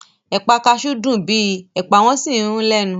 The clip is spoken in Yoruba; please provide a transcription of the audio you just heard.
Ẹ̀pà kaṣú dùn bíi Ẹ̀pà wọ́n sì ń rún lẹ́nu